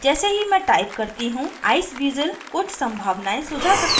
जैसे ही मैं type करती हूँ iceweasel कुछ संभावनाएं सुझा सकता है